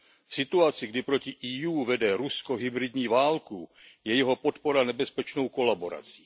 V situaci, kdy proti EU vede Rusko hybridní válku, je jeho podpora nebezpečnou kolaborací.